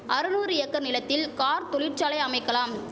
அரநூறு acre நிலத்தில் car தொழிற்சாலை அமைக்கலாம்